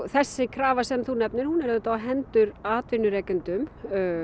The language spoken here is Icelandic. þessi krafa sem þú nefnir hún er auðvitað á hendur atvinnurekendum